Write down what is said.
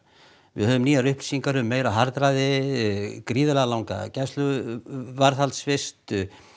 við höfum nýjar upplýsingar um meira harðræði gríðarlega langa gæsluvarðhaldsvist